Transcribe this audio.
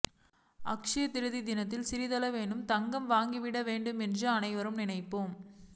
அட்சய திரிதியை தினத்தில் சிறிதளவேனும் தங்கம் வாங்கிவிட வேண்டும் என்று அனைவரும் நினைப்போம்